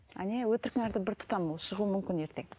әне өтіріктің арты бір тұтам ол шығуы мүмкін ертең